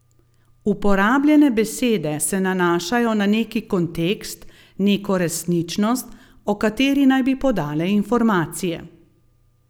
Uporabljene besede se nanašajo na neki kontekst, neko resničnost, o kateri naj bi podale informacije.